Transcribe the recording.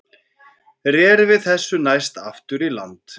Rerum við þessu næst aftur í land.